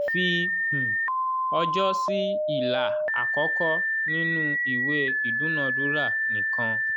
fi um ọjọ́ sí ilà àkọ́kọ́ nínú ìwé ìdúnadúrà nìkan.